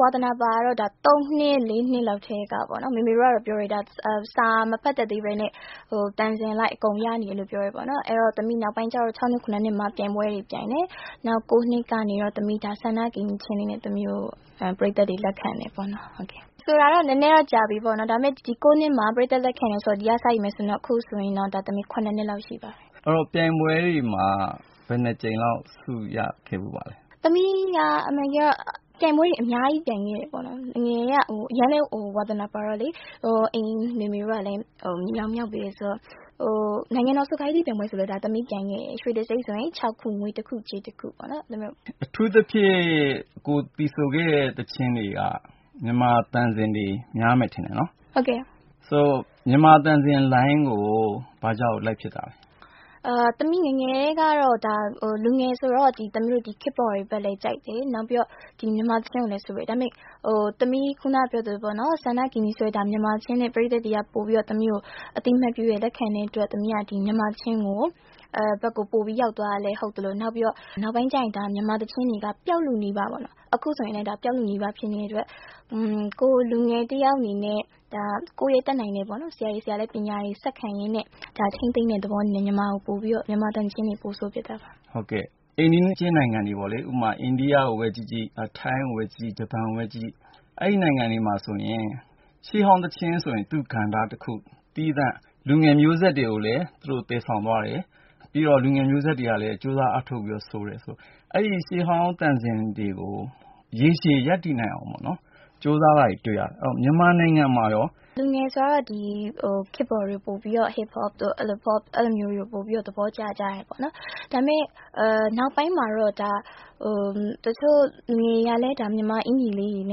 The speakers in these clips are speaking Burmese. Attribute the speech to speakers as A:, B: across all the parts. A: ဝါသနာပါတာကတော့ ၃ နှစ် ၄ နှစ်လောက်ကတည်းကပေါ့နော်။ မေမေတို့ကတော့ ပြောတယ် စာမဖတ်တတ်သေးပဲနဲ့ သံစဉ်အလိုက်အကုန်ရနေတယ်လို့ပြောတယ်။ နောက်ပိုင်း ၆ နှစ် ၇ နှစ်မှာ ပြိုင်ပွဲတွေ ပြိုင်တယ်။ နောက် ၉ နှစ်ကနေပြီးတာ့ “စန္ဒကိန္နရီ” သီချင်းနဲ့ ပရိတ်သတ်တွေ လက်ခံတယ်ပေါ့နော်။ ဆိုတာကတော့ နည်းနည်းကြာပြီ ဒီ ၉ နှစ်မှာ ပရိတ်သတ်လက်ခံတာကနေ အခုဆိုရင် ၇ နှစ်လောက်ရှိပါပြီ။
B: အဲဒီတော့ ပြိုင်ပွဲတွေမှာ ဘယ်နှစ်ကြိမ်လောက် ဆုရခဲ့ဖူးပါသလဲ။
A: သမီးက အမှန်တကယ်တော့ ပြိုင်ပွဲတွေ အများကြီး ပြိုင်ခဲ့တယ်ပေါ့နော်။ ငယ်ငယ်တုန်းက အရမ်းဝါသနာပါတော့ အမေတို့ကလည်း မြေတောင်မြောက်ပေးတယ်ဆိုတော့ နိုင်ငံတော် ဆို-က-ရေး-တီးပြိုင်ပွဲတွေလည်းပြိုင်ခဲ့တယ် ရွှေတံဆိပ် ၆ ခု၊ ငွေ ၁ ခု၊ ကြေး ၁ ခု ပေါ့နော်။
B: အထူးသဖြင့် ကိုယ်သီဆိုခဲ့တဲ့ သီချင်းတွေက မြန်မာသံစဉ်တွေ များမယ်ထင်တယ်နော်။
A: ဟုတ်ကဲ့။
B: ဆိုတော့ မြန်မာသံစဉ်လိုင်းကို ဘာကြောင့်လိုက်ဖြစ်တာလဲ။
A: သမီးငယ်ငယ်တုန်းကတော့ လူငယ်ဆိုတော့ ခေတ်ပေါ်လိုင်းကိုလည်း ကြိုက်တယ် နောက်ပြီးတော့ မြန်မာသီချင်းကိုလည်း ဆိုတယ်။ ဒါပေမယ့် “စန္ဒကိန္နရီ” သီချင်းနဲ့ ပရိတ်သတ်တွေက အသိအမှတ်ပြုတယ် လက်ခံတဲ့အတွက် သမီး မြန်မာသီချင်းဘက်ကို ပိုပြီးရောက်သွားတာလည်း ဟုတ်သလို၊ နောက်ပိုင်းကျရင် မြန်မာသီချင်းတွေကလည်း အခုဆိုရင်လည်း ပျောက်လုနီးပါး ဖြစ်နေတဲ့အတွက် ကိုယ်လူငယ်တယောက်အနေနဲ့ ကိုယ်တတ်နိုင်တာနဲ့ ဆရာတွေဆီကလည်း ပညာတွေ ဆက်ခံရင်းနဲ့ ထိန်းသိမ်းတဲ့သဘောအနေနဲ့ မြန်မာသီချင်းတွေကို ပိုဆိုဖြစ်တာပါ။
B: အိမ်နီးချင်းနိုင်ငံတွေပေါ့လေ အိန္ဒိယကိုပဲ ကြည့်ကြည့်၊ ထိုင်းကိုပဲ ကြည့်ကြည့် ဂျပန်ကိုပဲ ကြည့်ကြည့် အဲဒီနိုင်ငံတွေမှာ ရှေးဟောင်းသီချင်းဆိုရင် သူ့ကဏ္ဍသီးသန့် လူငယ်မျိုးဆက်တွေကို သယ်ဆောင်သွားတယ် လူငယ်မျိုးဆက်တွေကလည်း ကြိုးစားအားထုတ်ပြီးတော့ဆိုတယ်ဆိုတော့ အဲဒီ ရှေးဟောင်းသံစဉ်တွေကို ရေရှည်ရပ်တည်နိုင်အောင်ကြိုးစားတာတွေ တွေ့ရတယ် မြန်မာနိုင်ငံမှာရော ဘယ်လိုရှိပါသလဲ။
A: လူငယ်ဆိုတော့ ခေတ်ပေါ် Hip Hop တို့ အဲလိုမျိုးတွေကို ပိုပြီးတော့ သဘောကျတယ်ပေါ့နော်။ နောက်ပိုင်းမှာတော့ တချို့လူငယ်တွေကလည်း မြန်မာသီချင်းလေးတွေကို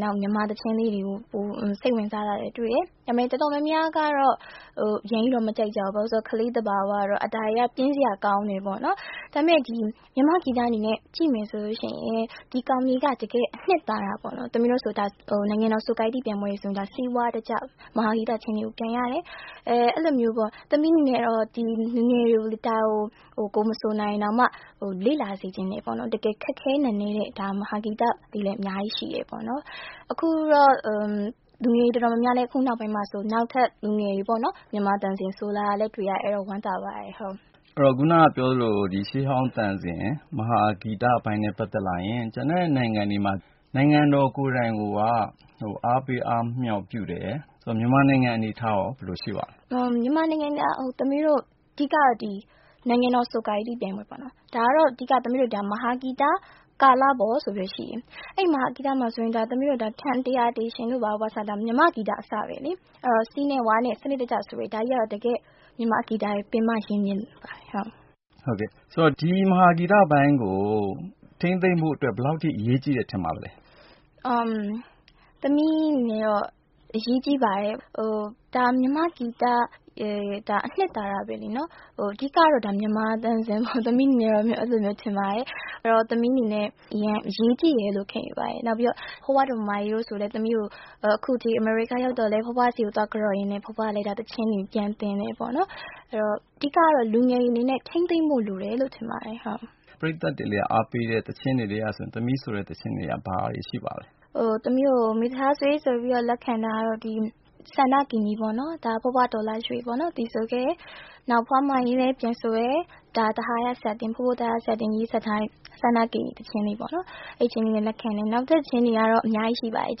A: ပိုပြီးစိတ်ဝင်စားလာတာကို တွေ့တယ်။ ဒါပေမယ့် တော်တော်များများကတော့ အရမ်းမကြိုက်ကြဘူ။း ဘာဖြစ်လို့လဲဆိုတော့ ကလေးသဘာဝအရကတော့ ဒါတွေက ပြင်းစရာကောင်းတယ်ပေါ့နော်။ ဒါပေမယ့် မြန်မာ့ဂီတအနေနဲ့ ကြည့်မယ်ဆိုရင် ဒါက တကယ့်ကို အနှစ်သာရပေါ့နော် ။ သမီးတို့ဆိုရင် နိုင်ငံတော် ဆို-က-ရေး-တီးပြိုင်ပွဲတွေမှာ စည်းဝါးတကျ မဟာဂီတသီချင်းတွေကို ပြိုင်ရတယ်၊ သမီးအနေနဲ့တော့ လူငယ်တွေကို ကိုယ်မဆို နိုင်ရင်တောင်မှ လေ့လာစေချင်တယ်ပေါ့နော်။ တကယ်ခက်ခဲနက်နဲတဲ့ မဟာဂီတတွေလည်း အများကြီးရှိတယ်။ လူငယ်တွေ တော်တေ်ာများများလည်း အခုနောက်ပိုင်းမှာ နောက်ထပ် လူငယ်တွေ မြန်မာသံစဉ်တွေ ဆိုလာတာလည်း တွေ့ရတယ် အဲဒါကို ဝမ်းသာပါတယ်။
B: ခုနကပြောသလို ရှေးဟောင်းသံစဉ် မဟာဂီတအပိုင်းနဲ့ ပတ်သက်လာရင် ကျန်တဲ့နိုင်ငံမှာ နိုင်ငံတော် ကိုယ်တိုင်က အားပေးအားမြောက်ပြုတယ်။ မြန်မာနိုင်ငံအနေအထားရော ဘယ်လိုရှိပါသလဲ။
A: မြန်မာနိုင်ငံက အဓိကတော့ နိုင်ငံတော် ဆို-က-ရေး-တီးပြိုင်ပွဲပေါ့နော်၊ အဲဒါကတော့ မဟာဂီတ ကာလပေါ် ဆိုပြီးတော့ရှိတယ်။ အဲဒီမဟာဂီတမှာဆိုရင် သမီးတို့ ထန်-တရာ-တေရှင် တို့ဘာတို့ဆိုတာ ဒါမြန်မာ့ဂီတအစပဲလေ။ စည်းနဲ့ဝါးနဲ့ စနစ်တကျဆိုတယ် ဒါကတော့ မြန်မာ့ဂီတရဲ့ ပင်မရင်းမြစ်တွေပါပဲ။
B: ဟုတ်ကဲ့ ဒီမဟာဂီတပိုင်းကို ထိန်းသိမ်းဖို့အတွက် ဘယ်လောက်အထိ အရေးကြီးတယ်ထင်ပါသလဲ။
A: သမီးအနေနဲ့တော့ ဒါအရေးကြီးပါတယ် မြန်မာ့ဂီတရဲ့ အနှစ်သာရပဲလေ။ အဓိကတော့ မြန်မာသံစဉ် ပေါ့နော်။ သမီးအနေနဲ့ အရေးကြီးတယ်လို့ ခံယူပါတယ်။ ဖွားဖွားဒေါ်မာမာအေးဆိုရင်လည်း သမီး အမေရိက ရောက်တဲ့အထိ သွားကန်တော့ရင်းနဲ့ ဖွားဖွားက သီချင်းတွေ ပြန်သင်တယ်ပေါ့နော်။ အဓိကတော့ လူငယ်တွေအနေနဲ့ ထိန်းသိမ်းဖို့လိုတယ်လို့ ထင်ပါတယ်။
B: ပရိတ်သက်တွေအားပေးတဲ့ သီချင်းတွေထဲက ဆိုတာ ဘာတွေရှိပါသလဲ။
A: သမီးကို မေသက်ထားဆွေဆိုပြီးတော့ လက်ခံတာကတော့ စန္ဒကိန္နရီ ပေါ့နော်။ ဒါက ဖွားဖွားဒေါ်လှရွှေ သီဆိုခဲ့တယ်။ နောက် ဖွားဖွား မာမာအေးလည်း ပြန်ဆိုတယ်။ ဒါ သဟာယ ဆရာတင်- ဖိုးဖိုး သဟာယ ဆရာတင် ရေးစပ်ထားတဲ့ စန္ဒကိန္နရီ သီချင်းလေးပေါ့။ နောက်သီချင်းတွေလည်း အများကြီးရှိပါတယ် ။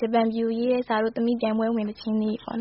A: ဂျပန်ပြည်ကို ရေးတဲ့စာတို့ အဲလို ပြိုင်ပွဲဝင် သီချင်းလေးတွေပေါ့နော်